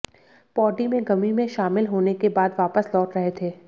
पौडी में गमी में शामिल होने के बाद वापस लौट रहे थे